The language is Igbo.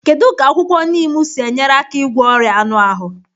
Kedu ka akwụkwọ neem si enyere aka ịgwọ ọrịa anụ ahụ?